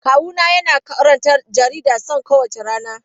Kawuna yana karanta jaridar Son kowace rana.